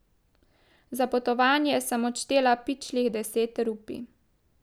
Za potovanje sem odštela pičlih deset rupij.